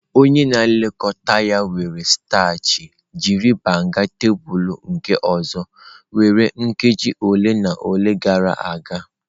Onye na-elekọta ya were starch jiri banga tebụl nke ọzọ were nkeji ole na ole gara aga.